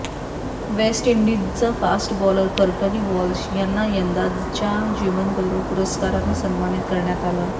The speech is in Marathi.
वेस्टइंडिजचा फास्ट बॉलर कर्टनी वॉल्श यांना यंदाच्या जीवन गौरव पुरस्कारानं सन्मानित करण्यात आलं